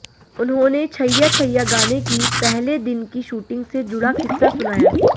उन्होंने छैया छैया गाने की पहले दिन की शूटिंग से जुड़ा किस्सा सुनाया